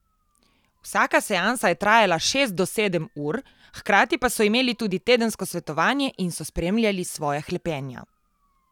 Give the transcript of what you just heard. Vsaka seansa je trajala šest do sedem ur, hkrati pa so imeli tudi tedensko svetovanje in so spremljali svoja hlepenja.